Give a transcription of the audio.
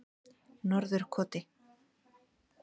Norðurkoti